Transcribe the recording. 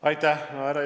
Aitäh!